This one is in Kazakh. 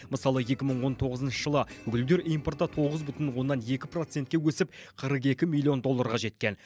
мысалы екі мың он тоғызыншы жылы гүлдер импорты тоғыз бүтін оннан екі процентке өсіп қырық екі миллион долларға жеткен